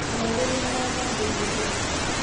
Arũaru nĩ marathabirio ira.